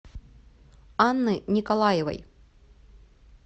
анны николаевой